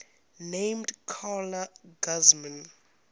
named carla guzman